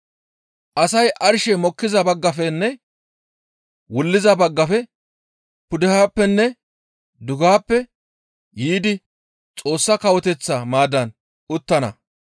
Asay arshey mokkiza baggafenne wulliza baggafe pudehappenne dugehappe yiidi Xoossa Kawoteththa maaddan uttana.